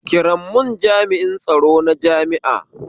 Ki ran mun jami'in tsaro na jami'a